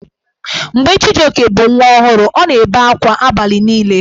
Mgbe Chijioke bụ nwa ọhụrụ, ọ na-ebe akwa abalị niile.